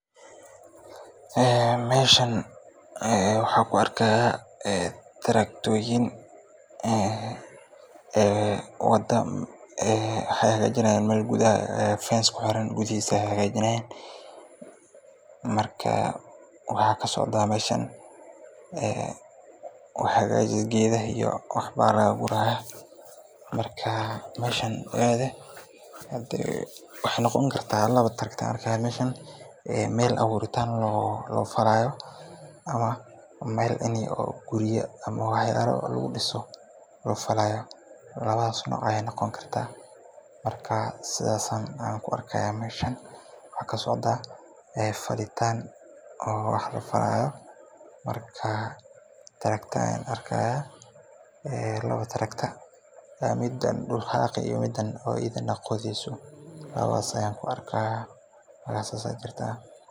Meeshan waxaan arkaaya taraktoyin, wada hagaajinyaan, waxaa kasocdaa meeshan wax hagajis geedaha ayaa laga gurayaa, waxeey noqon kartaa meel aburitan loo falaayo, ama meel in gurya lagu diso loo falaayo, waxaa kasocdaa falitaan, waxaan ku arkaaya laba tarakto.